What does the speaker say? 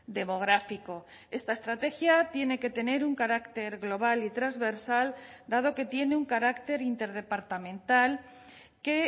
demográfico esta estrategia tiene que tener un carácter global y transversal dado que tiene un carácter interdepartamental que